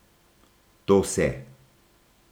To se.